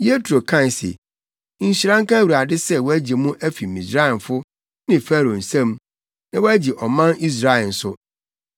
Yetro kae se, “Nhyira nka Awurade sɛ wagye mo afi Misraimfo ne Farao nsam, na wagye ɔman Israel nso.